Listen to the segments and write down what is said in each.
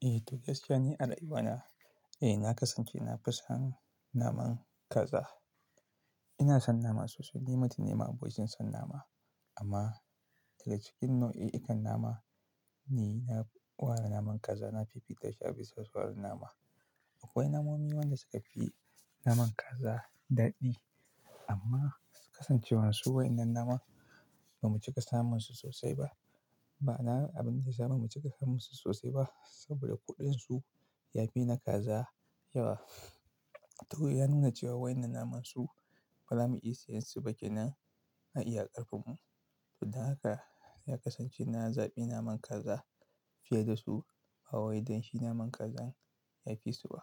Duk gaskiya ne al'umma na. Na kasance na fi son naman kaza. Ina son nama sosai. Ni mutum ne ma'abocin son nama. Amma daga cikin nau'i kan nama, ni na ware naman kaza na fifita shi a bisa sauran nama. Akwai namomi wanda suka fi naman kaza daɗi amma kasancewar su wai wannan naman ba mu cika samun su sosai ba. Ba na abin da ya zamu cika samun su sosai ba saboda kuɗin su ya fi na kaza yawa. Toh ya nuna cewa wannan naman su baza mu iya sayan su ba kenan a iya karfin mu. Don haka ya kasance na zaɓi naman kaza fiye da su. Ba wai don shi naman kazan ya fi su ba.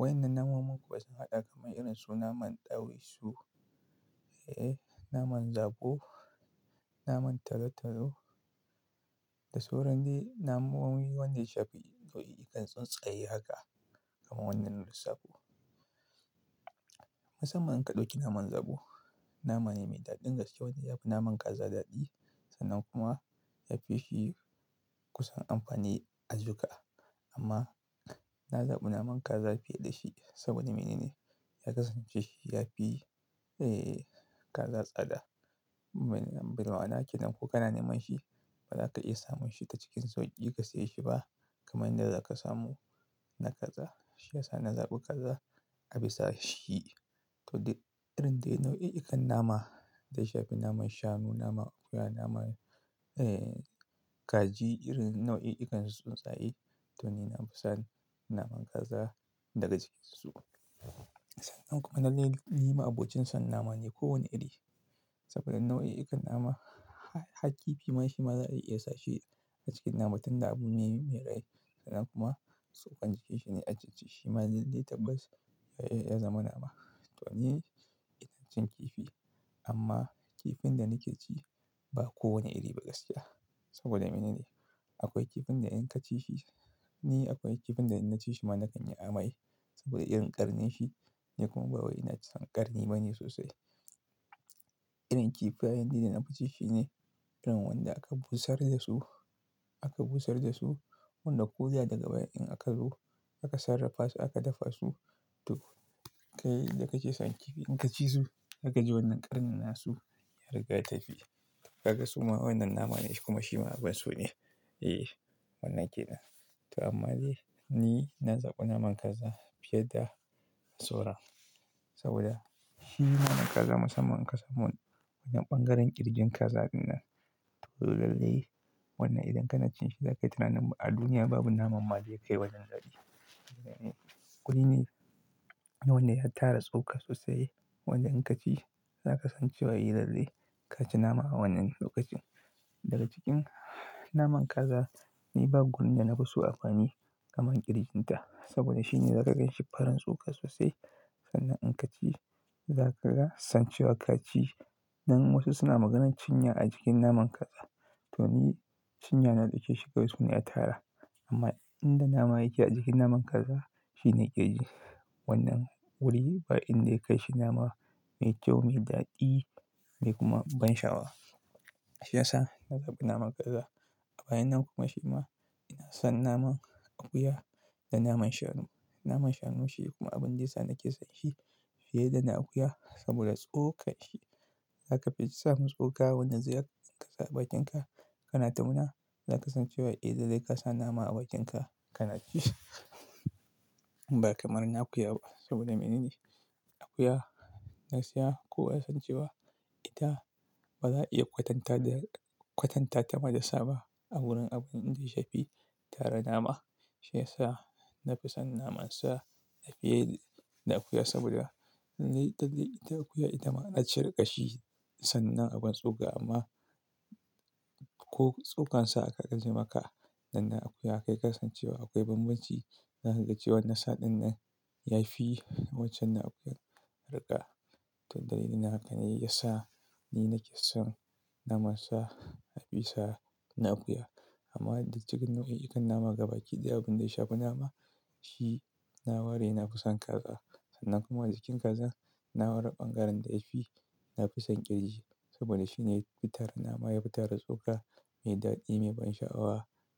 Waɗannan namunnan kuma sun haɗa kamar irin su naman ɗawisu, naman zaɓo, naman talotalo da sauran dai namomi wanda ya shafi nau'i kan tsuntsaye haka kamar wanda na lissafo. Musamman ka ɗauki naman zaɓo, nama ne mai daɗin gaske wanda ya fi naman kaza daɗi sannan kuma ya fi shi kusan amfani a jika. Amma na zaɓi naman kaza fiye da shi saboda mene ne? Ya kasance shi ya fi, eh, kaza tsada. Manyan barawa kenan ko kana neman shi ba za ka iya samun shi ta cikin sauƙi ka saye shi ba kamar inda za ka samu na kaza. Shi ya sa na zaɓi kaza a bisa shi. Toh dai irin dai nau'i kan nama da ya shafi naman shanu, naman akuya, naman, kaji irin nau'i kan tsuntsaye to ni na fi son naman kaza daga cikinsu. Sannan kuma lallai ni mai abokin son nama ne kowane iri saboda nau'i kan nama har kifi ma shi ma za a iya sa shi a cikin nama tunda abu ne mai rai sannan kuma tsokan jikin shi ne ajijiji. Shi ma dai dai tabbas ya iya zama nama. Toh ni, ina cin kifi amma kifin da nake ci ba kowane iri ba gaskiya. Saboda mene ne? Akwai kifin da in ka ci shi, ni akwai kifin da na ci shi ma na kan yi amai saboda irin ƙarnin shi. Ni kuma ba wai ina son ƙarni bane sosai. Irin kifayen dai da na fi ci shi ne irin wanda aka busar da su, aka busar da su, wanda koda daga bayan in aka zo aka sarrafasu aka dafa su. Toh kai da kake son kifi in ka ci su, za kaji wannan ƙarnin nasu ya riga ya tafi. Ka ga suma wannan nama ne shi kuma shi ma abun so ne. Eh, wannan ke nan. Toh amma dai ni na zaɓi naman kaza fiye da sauran saboda shi naman kaza musamman ka samu wanan ɓangaren ƙirjin kaza nan to lallai wannan idan ka na cin shi za ka yi tunanin ba a duniya babu naman ma zai kai wajen daɗi. Wuri ne wanda ya tara tsoka sosai wanda in ka ci za ka san cewa lallai ka ci nama wannan lokacin. Daga cikin naman kaza ni ba gurin da na fi so amfani kamar ƙirjin ta saboda shi ne za ka ganshi farin tsoka sosai sannan in ka ci za ka ga san cewa ka ci. Don wasu suna maganar cinya a cikin naman kaza to ni cinya na dauke Shi kawai suna ya tara. Amma inda nama yake a cikin naman kaza shi ne ƙirji. Wannan wuri ba in dai ka yi shi nama mai kyau, mai daɗi mai kuma ban sha'awa. Shi yasa na zaɓi naman kaza. Bayan nan kuma shi ma ina son naman akuya da naman shanu. Naman shanu shi kuma abin da ya sa nake son shi fiye da na akuya saboda tsokan shi. Za ka fi samun tsoka wanda zai haɗu a bakin ka, kana ta murna. Za ka san cewa eh daddare ka sa nama a bakin ka, kana ci. Ba kamar na akuya ba saboda mene ne? Akuya gaskiya kowa ya san cewa ita ba za a iya kwatanta da, kwatanta ta ma da sa ba a wurin abin da ya shafi tara nama. Shi ya sa na fi son naman sa na fiye da akuya saboda dai daddare ita akuya ita ma ana shirka shi sannan abin tsoka amma ko tsokan sa ka gaji maka. Sanan akuya kai ka san cewa akwai bambanci. Za ka ga cewa nasa ɗin nan ya fi wancan na akuyan arha. Toh dalilin haka ne ya sa ni nake son naman sa a bisa na akuya. Amma daga cikin nau'i kan nama gaba ɗaya abin da ya shafi nama shi na ware na fi son kaza. Sannan kuma daga cikin kazan na ware ɓangaren da ya fi na fi son ƙirji saboda shi ne ya fi tara nama, ya fi tara tsoka mai daɗi, mai ban sha'awa.